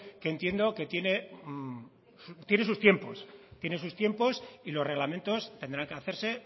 que entiendo que tiene sus tiempos y los reglamentos tendrán que hacerse